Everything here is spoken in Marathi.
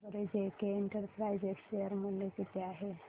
सांगा बरं जेके इंटरप्राइजेज शेअर मूल्य किती आहे